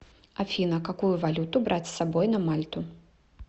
афина какую валюту брать с собой на мальту